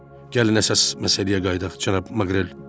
Gəlin əsas məsələyə qayıdaq, cənab Maqrel.